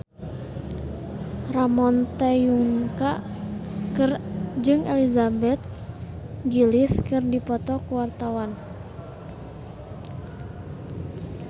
Ramon T. Yungka jeung Elizabeth Gillies keur dipoto ku wartawan